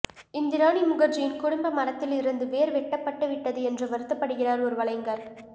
இந்திராணி முகர்ஜியின் குடும்ப மரத்தில் இருந்து வேர் வெட்டப்பட்டு விட்டது என்று வருத்தப்படுகிறார் ஒரு வலைஞர்